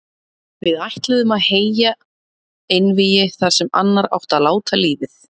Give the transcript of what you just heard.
Við ætluðum að heyja einvígi þar sem annar átti að láta lífið.